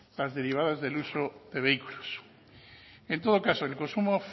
las derivadas del uso de vehículos en todo caso el consumo